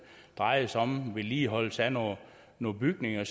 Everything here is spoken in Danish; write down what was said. drejer sig om vedligeholdelse af nogle nogle bygninger